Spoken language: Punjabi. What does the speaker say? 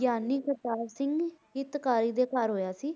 ਗਿਆਨੀ ਕਰਤਾਰ ਸਿੰਘ ਹਿੱਤਕਾਰੀ ਦੇ ਘਰ ਹੋਇਆ ਸੀ।